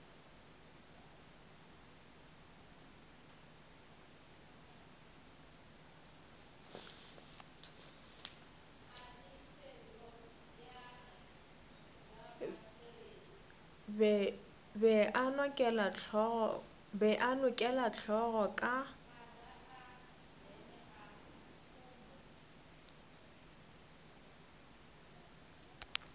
be a nokela hlogo ka